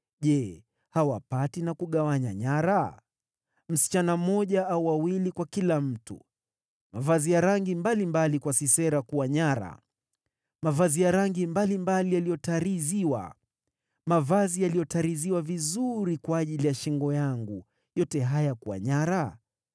‘Je, hawapati na kugawanya nyara: msichana mmoja au wawili kwa kila mtu, mavazi ya rangi mbalimbali kwa Sisera kuwa nyara, mavazi ya rangi mbalimbali yaliyotariziwa, mavazi yaliyotariziwa vizuri kwa ajili ya shingo yangu: yote haya yakiwa nyara?’